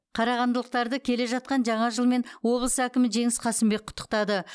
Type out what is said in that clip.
қарағандылықтарды келе жатқан жаңа жылмен облыс әкімі жеңіс қасымбек құттықтады